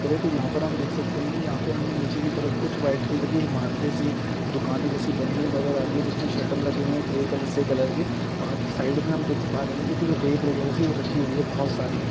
करे तो यहाँ पर हम देख सकते है यहाँ पे हमें निचे की तरफ कुछ वाइट कलर की इमारतें सी दुकान जेसे बनी हुआ नजर आ रही है जिसमे सटर लगे हुए है ग्रे कलर से कलर के और साइड हम देख पा रहे है कुछ रेत वगेरा सी राखी हुई है ।